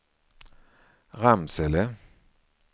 Ramsele